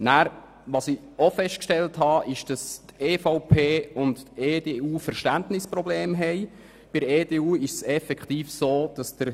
Ich habe auch festgestellt, dass die EVP und die EDU Verständnisprobleme haben.